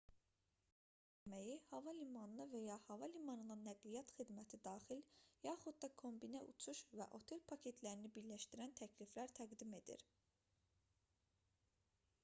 turizm agentlikləri adətən səhər yeməyi hava limanına və ya hava limanından nəqliyyat xidməti daxil yaxud da kombinə uçuş və otel paketlərini birləşdirən təkliflər təqdim edir